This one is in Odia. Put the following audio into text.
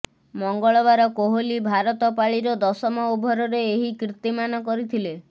ମଙ୍ଗଳବାର କୋହଲି ଭାରତ ପାଳିର ଦଶମ ଓଭରରେ ଏହି କୀର୍ତ୍ତିମାନ କରିଥିଲେ